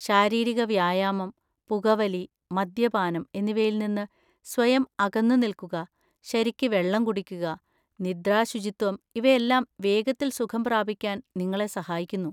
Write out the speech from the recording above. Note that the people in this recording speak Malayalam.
ശാരീരിക വ്യായാമം, പുകവലി, മദ്യപാനം എന്നിവയിൽ നിന്ന് സ്വയം അകന്നുനിൽക്കുക, ശരിക്കു വെള്ളം കുടിക്കുക, നിദ്രാശുചിത്വം, ഇവയെല്ലാം വേഗത്തിൽ സുഖം പ്രാപിക്കാൻ നിങ്ങളെ സഹായിക്കുന്നു.